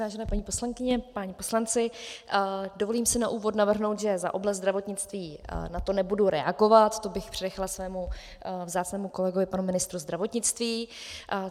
Vážené paní poslankyně, páni poslanci, dovolím si na úvod navrhnout, že za oblast zdravotnictví na to nebudu reagovat, to bych přenechala svému vzácnému kolegovi panu ministru zdravotnictví.